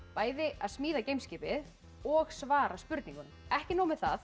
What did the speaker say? að smíða geim skipið og svara spurningunum ekki nóg með það